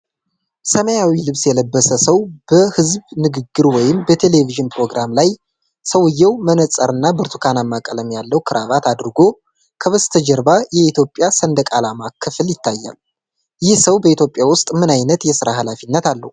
ሰማያዊ ልብስ የለበሰ ሰው በሕዝብ ንግግር ወይንም በቴሌቪዥን ፕሮግራም ላይ። ሰውየው መነጽርና ብርቱካንማ ቀለም ያለው ክራቫት አድርጎ። ከበስተጀርባ የኢትዮጵያ ሰንደቅ ዓላማ ክፍል ይታያል። ይህ ሰው በኢትዮጵያ ውስጥ ምን አይነት የሥራ ኃላፊነት አለው?